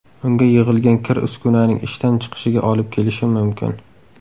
Unga yig‘ilgan kir uskunaning ishdan chiqishiga olib kelishi mumkin.